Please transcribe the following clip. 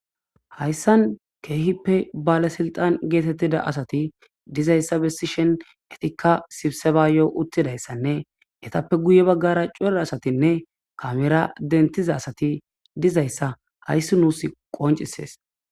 Hayssan kehipe balesilxan getetida asati dizaysa besishin etika sibsebsyo uttidaysane ryape guye bagara cora asatinne kamera denthiza asati dizaysa haysi nusi qoncises